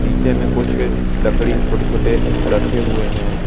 पीछे में कुछ लकड़ी छोटे-छोटे रखे हुए हैं।